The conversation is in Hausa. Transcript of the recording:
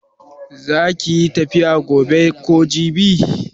Za kiyi tafiya gobe ko jibi?